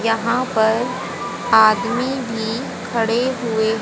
यहां पर आदमी भी खड़े हुए--